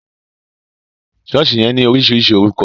Sọ̀ọ́sì yẹn ní oríṣiríṣi orúkọ